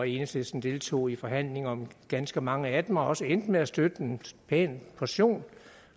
enhedslisten deltog i forhandlinger om ganske mange af dem og også endte med at støtte en pæn portion